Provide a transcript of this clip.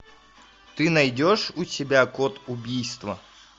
ты найдешь у себя код убийства